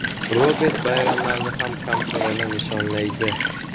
Robert bayramlarni ham kamtarona nishonlaydi.